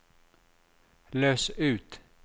løs ut